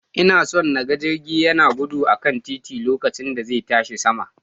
Ina so na ga jirgi yana gudu a kan titi lokacin da zai tashi sama.